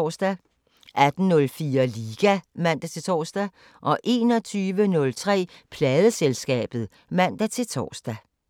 18:04: Liga (man-tor) 21:03: Pladeselskabet (man-tor)